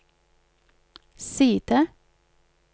side